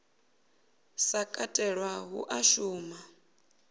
sa katelwa hu a shuma